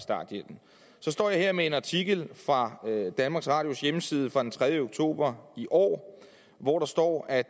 så står jeg her med en artikel fra danmarks radios hjemmeside fra den tredje oktober i år hvor der står at